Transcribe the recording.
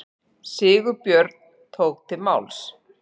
Sigurbjörn tók til máls.